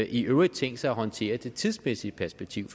i øvrigt tænkt sig at håndtere det tidsmæssige perspektiv